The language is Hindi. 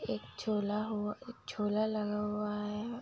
एक झोला हुआ एक झोला लगा हुआ है।